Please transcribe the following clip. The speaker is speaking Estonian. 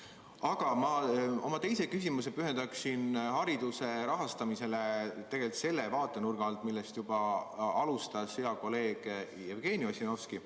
Aga oma teise küsimuse pühendan ma hariduse rahastamisele selle vaatenurga alt, millest juba alustas hea kolleeg Jevgeni Ossinovski.